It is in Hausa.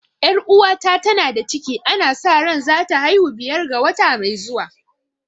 Ƴar uwata ta na da ciki ana sa ran za ta haihu biyar ga wata mai zuwa